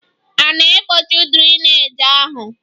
A na-egbochi drainage ahụ?